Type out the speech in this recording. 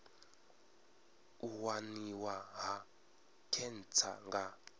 u waniwa ha khentsa nga